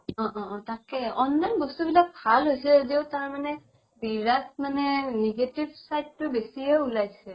অ অ অ তাকেই online বস্তু বিলাক ভাল হৈছে যদিও তাৰমানে বিৰাত মানে negative side টো বেচিয়ে উলাইছে